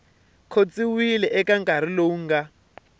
khotsiwa eka nkarhi lowu nga